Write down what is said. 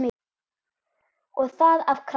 Og það af krafti.